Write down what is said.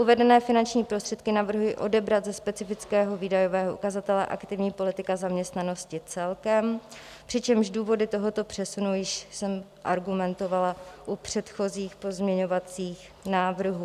Uvedené finanční prostředky navrhuji odebrat ze specifického výdajového ukazatele Aktivní politika zaměstnanosti celkem, přičemž důvody tohoto přesunu jsem již argumentovala u předchozích pozměňovacích návrhů.